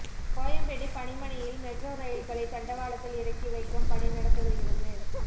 கோயம்பேடு பணிமனையில் மெட்ரோ ரயில்களை தண்டவாளத்தில் இறக்கிவைக்கும் பணி நடந்து வருகிறது